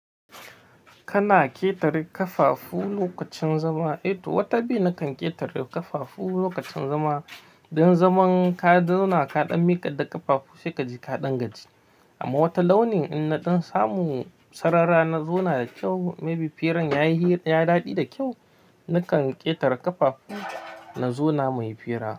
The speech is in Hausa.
Kana ƙetare ƙafafu lokacin zama? Eh to, wata biyu nakan ƙetare ƙafafu lokacin zama. Don zaman ka da zauna kaɗan miƙa da ƙafafu sai ka ji kaɗangaji. Amma wata launin in naɗin samu sarara na zauna da kyau, maybe firan ya yi ya daɗe da kyau, nakan ƙetare ƙafafu na zauna muyi fira.